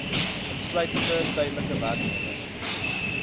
insluitende tydelike werknemers